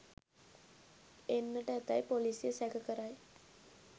එන්නට ඇතැයි පොලිසිය සැක කරයි